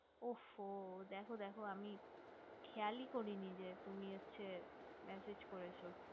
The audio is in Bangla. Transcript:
ও হো দেখো দেখো আমি খেয়ালি করি নি যে তুমি হচ্ছে massage করেছো